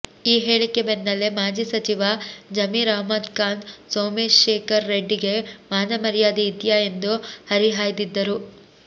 ಈ ಹೇಳಿಕೆ ಬೆನ್ನಲ್ಲೇ ಮಾಜಿ ಸಚಿವ ಜಮೀರ್ ಅಹಮ್ಮದ್ ಖಾನ್ ಸೋಮಶೇಖರ್ ರೆಡ್ಡಿಗೆ ಮಾನ ಮರ್ಯಾದೆ ಇದ್ಯಾ ಎಂದು ಹರಿಹಾಯ್ದಿದ್ದರು